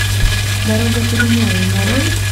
дорога перемен нарой